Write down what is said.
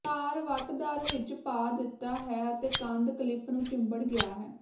ਤਾਰ ਵੱਟਦਾਰ ਵਿੱਚ ਪਾ ਦਿੱਤਾ ਹੈ ਅਤੇ ਕੰਧ ਕਲਿੱਪ ਨੂੰ ਚਿੰਬੜ ਗਿਆ ਹੈ